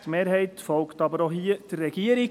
Die Mehrheit folgt aber auch hier der Regierung.